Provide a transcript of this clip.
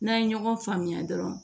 N'an ye ɲɔgɔn faamuya dɔrɔn